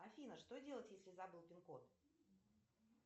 афина что делать если забыл пин код